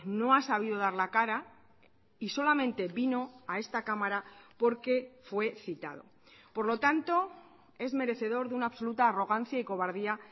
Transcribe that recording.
no ha sabido dar la cara y solamente vino a esta cámara porque fue citado por lo tanto es merecedor de una absoluta arrogancia y cobardía